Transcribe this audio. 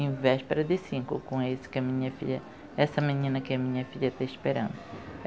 Em véspera de cinco com esse que a minha filha, essa menina que a minha filha está esperando.